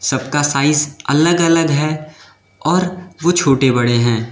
सबका साइज अलग अलग है और वो छोटे बड़े हैं।